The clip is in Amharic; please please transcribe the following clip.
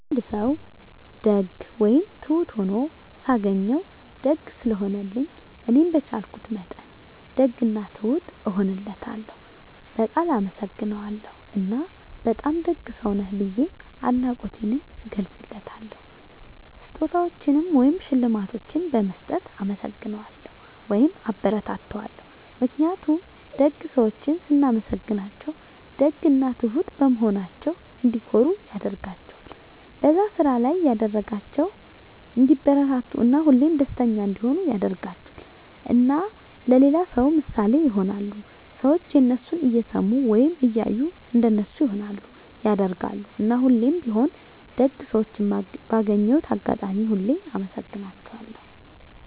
አንድ ሰዉ ደግ ወይም ትሁት ሁኖ ሳገኘዉ፤ ደግ ስለሆነልኝ እኔም በቻልኩት መጠን ደግ እና ትሁት እሆንለታለሁ፣ በቃል አመሰግነዋለሁ እና በጣም ደግ ሰዉ ነህ ብዬ አድናቆቴንም እገልፅለታለሁ። ስጦታዎችን ወይም ሽልማቶችን በመስጠት እናመሰግነዋለሁ (አበረታታዋለሁ) ። ምክንያቱም ደግ ሰዎችን ስናመሰግናቸዉ ደግ እና ትሁት በመሆናቸዉ እንዲኮሩ ያደርጋቸዋል፣ በዛ ስራ ላይ እንዲበረታቱ እና ሁሌም ደስተኛ እንዲሆኑ ያደርጋቸዋል። እና ለሌላ ሰዉ ምሳሌ ይሆናሉ። ሰዎችም የነሱን እየሰሙ ወይም እያዩ እንደነሱ ይሆናሉ (ያደርጋሉ)። እና ሁሌም ቢሆን ደግ ሰዎችን ባገኘሁት አጋጣሚ ሁሉ አመሰግናቸዋለሁ።